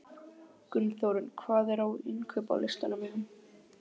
Gunnþórunn, hvað er á innkaupalistanum mínum?